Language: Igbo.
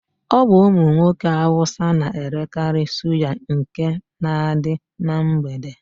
Ọ bụ ụmụnwoke Awụsa na-erekarị suya nke na-adị na mgbede.